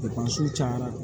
cayara